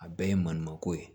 A bɛɛ ye maninkako ye